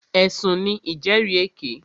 Ẹ̀sùn ní ìjẹ́rìèké.